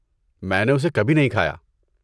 میں نے اسے کبھی نہیں کھایا۔